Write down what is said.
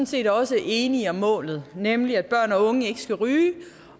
set også enige om målet nemlig at børn og unge ikke skal ryge